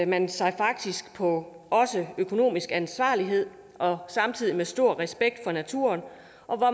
man sig faktisk også på økonomisk ansvarlighed og samtidig har man stor respekt for naturen